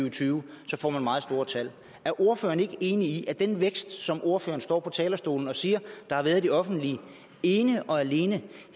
og tyve så får man meget store tal er ordføreren ikke enig i at den vækst som ordføreren står på talerstolen og siger der har været i det offentlige ene og alene